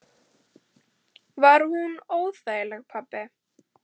Var hún óþæg, pabbi?